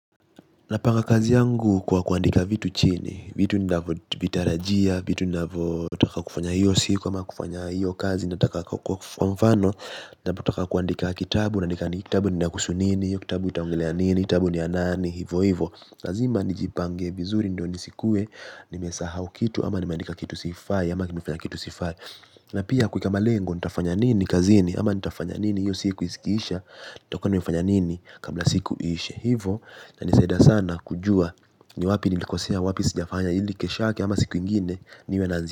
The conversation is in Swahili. Napanga kazi yangu kwa kuandika vitu chini, vitu ninavyo vitarajia, vitu ninavyo taka kufanya hiyo siku ama kufanya hiyo kazi, nataka kwamfano, nataka kuandika kitabu, naandika kitabu ni nakuhusu nini, kitabu itaongelea nini, kitabu ni yanani, hivo hivo. Lazima nijipange vizuri ndio nisikue nimesahau kitu ama nimeandika kitu sifai ama nimefanya kitu sifai na pia kuweka malengo nitafanya nini kazini ama nitafanya nini hiyo siku ikiisha nitakua nimefanya nini kabla siku iishe. Hivo ina nisaidia sana kujua ni wapi nilikosea wapi sijafanya ili keshoyake ama siku ingine niwe naji.